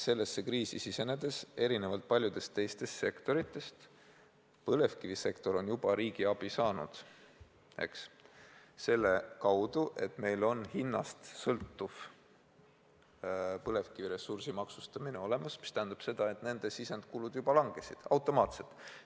Sellesse kriisi sisenedes on põlevkivisektor erinevalt paljudest teistest sektoritest riigiabi juba saanud, ja seda selle kaudu, et meil kehtib hinnast sõltuv põlevkiviressursi maksustamine, mis tähendab seda, et nende sisenditega seotud kulud juba langesid automaatselt.